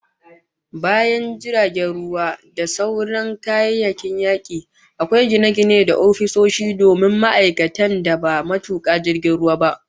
Bayan jiragen ruwa da sauran kayayyaki, akwai gine-gine da ofisoshi domin ma'aikatan da ba matuka jiragen ba